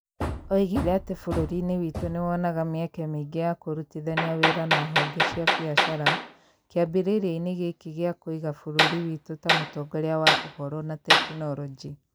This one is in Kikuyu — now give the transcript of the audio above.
Oigire atĩ bũrũri-inĩ witũ nĩ wonaga mĩeke mĩingĩ ya kũrutithania wĩra na honge cia biacara kĩambĩrĩria-inĩ gĩkĩ gĩa kũiga bũrũri witũ ta mũtongoria wa Ũhoro na Teknoroji.